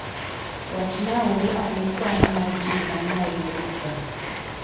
wachnauru ane kwan mar ji man Nairobi Kenya